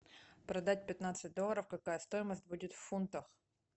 продать пятнадцать долларов какая стоимость будет в фунтах